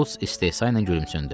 Şults istehzayla gülümsündü.